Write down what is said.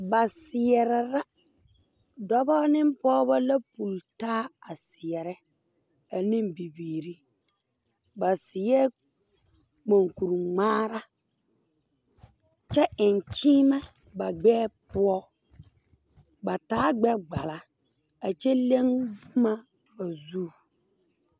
Ba seɛrɛ la dɔbɔ ne pooba la pultaa a seɛrɛ aneŋ bibiire ba seɛ monkuri ngmaara kyɛ eŋ kyiimɛ ba gbɛɛ poɔ ba taa gbɛgbala a kyɛ leŋ bomma ba zu.